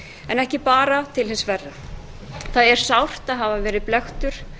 en ekki bara til hins verra það er sárt að hafa verið blekktur